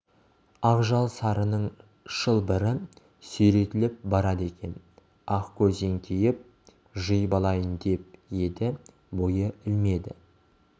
ақжал сарының шылбыры сүйретіліп барады екен ақкөз еңкейіп жиып алайын деп еді бойы иілмеді